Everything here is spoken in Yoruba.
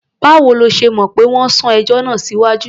Báwo lo ṣe mọ̀ pé wọ́n sún ẹjọ́ náà síwájú?